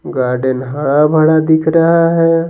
Garden हरा भरा दिख रहा है।